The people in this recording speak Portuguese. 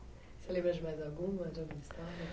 Você lembra de mais alguma? De alguma história?